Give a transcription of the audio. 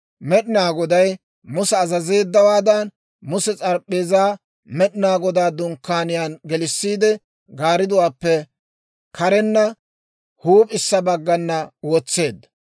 Med'inaa Goday Musa azazeeddawaadan, Muse s'arp'p'eezaa Med'inaa Godaa Dunkkaaniyaan gelissiide, gaariduwaappe karenna huup'issa baggana wotseedda.